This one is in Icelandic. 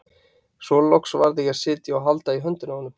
Svo loks varð ég að sitja og halda í höndina á honum.